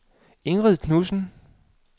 Ingrid Knudsen